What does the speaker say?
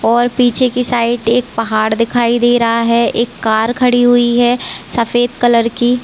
और पीछे की साइड एक पहाड़ दिखाई दे रहा है एक कार खड़ी हुई है सफ़ेद कलर की--